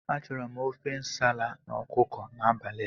Achọrọ m ofe nsala na ọkụkọ n'abalị a.